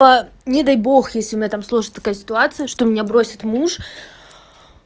не дай бог если у меня там сложится такая ситуация что меня бросит муж